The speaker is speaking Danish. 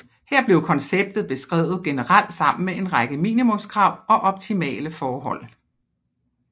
Her blev konceptet beskrevet generelt sammen med en række minimumskrav og optimale forhold